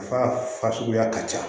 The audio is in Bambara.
A ka fa suguya ka ca